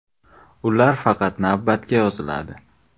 Ular faqat navbatga yoziladi.